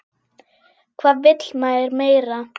Hvað vill maður meira?